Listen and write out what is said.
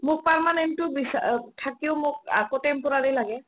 মোৰ permanent তো বিচাৰি আ থাকিও মোক আকৌ temporary লাগে